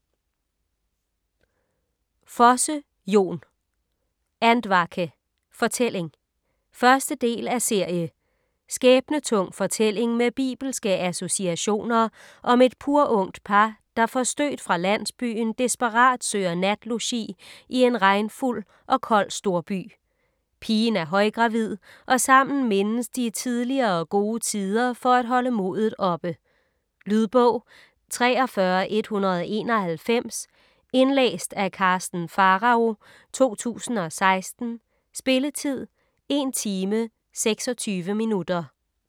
Fosse, Jon: Andvake: fortælling 1. del af serie. Skæbnetung fortælling med bibelske associationer om et purungt par, der forstødt fra landsbyen desperat søger natlogi i en regnfuld og kold storby. Pigen er højgravid, og sammen mindes de tidligere gode tider for at holde modet oppe. . Lydbog 43191 Indlæst af Karsten Pharao, 2016. Spilletid: 1 timer, 26 minutter.